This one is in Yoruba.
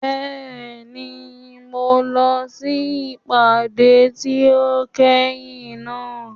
Bẹ́ẹ̀ni, mo lọ sí ìpàdé tí ó kẹ́yìn náà.